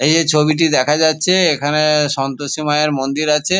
এই যে ছবিটি দেখা যাচ্ছে এখানে সন্তোষী মায়ের মন্দির আছে।